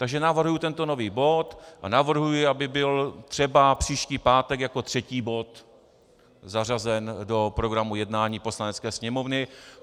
Takže navrhuji tento nový bod a navrhuji, aby byl třeba příští pátek jako třetí bod zařazen do programu jednání Poslanecké sněmovny.